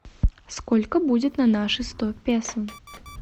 сколько будет на наши сто песо